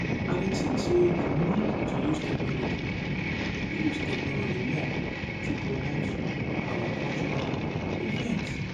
i dey think say we need to use technology use technology more to promote our cultural events.